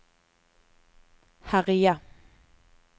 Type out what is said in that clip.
herje